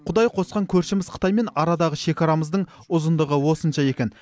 құдай қосқан көршіміз қытаймен арадағы шекарамыздың ұзындығы осынша екен